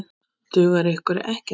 Dugar ykkur ekkert?